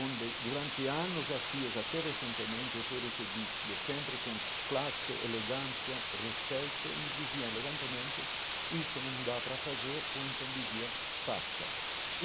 onde durante anos a fios até recentemente e fui recebido sempre com classe elegância, respeito e me dizia elegantemente isso não dá para fazer ou então dizia faça.